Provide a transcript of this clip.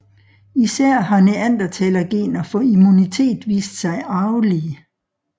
Især har neandertalergener for immunitet vist sig arvelige